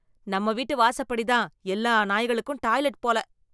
நம்ம வீட்டு வாசப்படிதான் எல்லா நாய்களுக்கும் டாய்லெட் போல...